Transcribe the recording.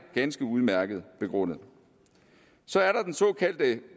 ganske udmærket begrundet så er der den såkaldte